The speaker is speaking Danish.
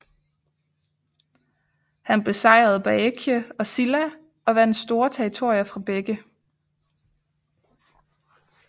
Han besejrede Baekje og Silla og vandt store territorier fra begge